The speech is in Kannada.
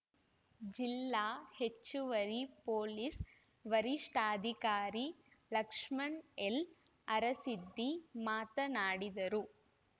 ಜಿಲ್ಲಾ ಹೆಚ್ಚುವರಿ ಪೊಲೀಸ ವರಿಷ್ಠಾಧಿಕಾರಿ ಲಕ್ಷ್ಮಣ ಎಲ್‌ ಅರಸಿದ್ದಿ ಮಾತನಾಡಿದರು